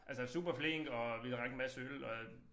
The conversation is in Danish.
Altså superflink og vi drak en masse øl og